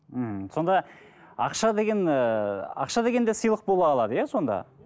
ммм сонда ақша деген ыыы ақша деген де сыйлық бола алады да иә сонда